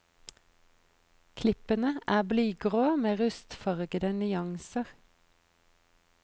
Klippene er blygrå med rustfargede nyanser.